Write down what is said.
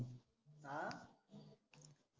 अं